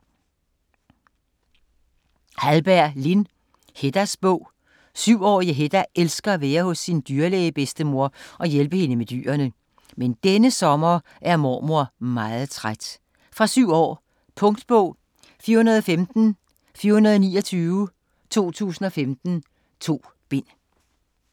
Hallberg, Lin: Heddas bog 7-årige Hedda elsker at være hos sin dyrlæge-bedstemor og hjælpe hende med alle dyrene. Men denne sommer er mormor meget træt. Fra 7 år. Punktbog 415429 2015. 2 bind.